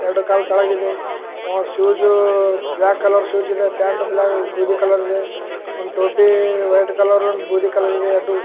ಎರಡು ಕಾಲ್ ತೆಳಗ ಇದೆ ಆಹ್ ಶೂಸ್ ಬ್ಲಾಕ್ ಕಲರ್ ಶೂಸ್ ಇದೆ ಪಾಂಟ್ ಬ್ಲಾಕ್ ಬೂದಿ ಕಲರಿ ದೆ ಒಂದ್ ಟೋಪಿ ವೈಟ್ ಕಲರ್ ಒಂದು ಬೂದಿ ಕಲರ್ ಇದೆ ಎರಡು --